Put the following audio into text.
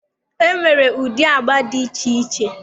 E nwere ụdị agba dị iche iche.